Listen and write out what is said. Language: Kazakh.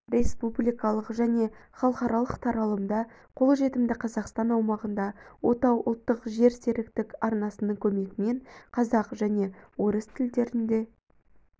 республикалық және халықаралық таралымда қолжетімді қазақстан аумағында отау ұлттық жерсеріктік арнасының көмегімен қазақ және орыс тілдерінде